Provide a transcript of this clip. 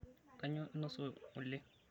Kainyoo inosa ngole?